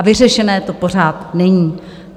A vyřešené to pořád není.